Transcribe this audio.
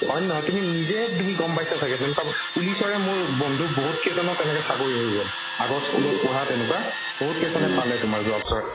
হয়নে নহয় তুমি নিজে তুমি গম পাইছা ছাগে যেনেকুৱা police ৰে মোৰ বন্ধু বহুত কেইজনৰ তেনেকে চাকৰি হৈ গ'ল আগত school ত পঢ়া তেনেকুৱা বহুত কেইজনে পালে তোমাৰ